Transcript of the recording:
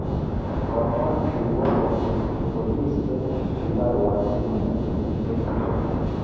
Komwa kirwoket kole bolis che kibar wakili ne ki betito